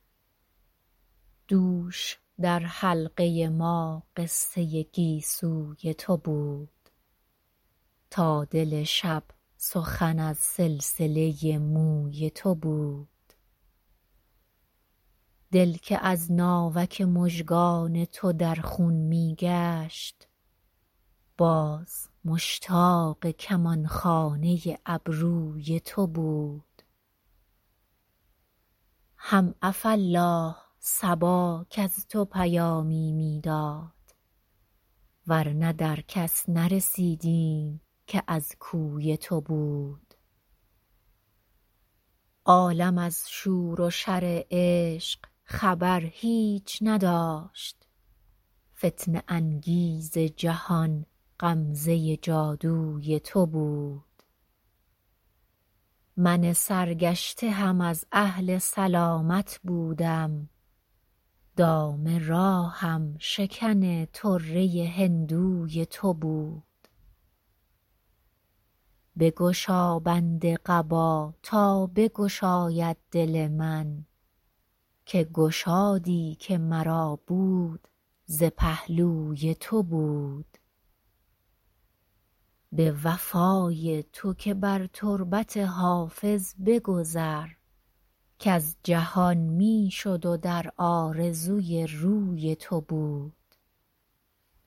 دوش در حلقه ما قصه گیسوی تو بود تا دل شب سخن از سلسله موی تو بود دل که از ناوک مژگان تو در خون می گشت باز مشتاق کمان خانه ابروی تو بود هم عفاالله صبا کز تو پیامی می داد ور نه در کس نرسیدیم که از کوی تو بود عالم از شور و شر عشق خبر هیچ نداشت فتنه انگیز جهان غمزه جادوی تو بود من سرگشته هم از اهل سلامت بودم دام راهم شکن طره هندوی تو بود بگشا بند قبا تا بگشاید دل من که گشادی که مرا بود ز پهلوی تو بود به وفای تو که بر تربت حافظ بگذر کز جهان می شد و در آرزوی روی تو بود